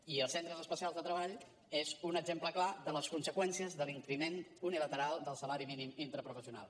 i els centres especials de treball són un exemple clar de les conseqüències de l’increment unilateral del salari mínim interprofessional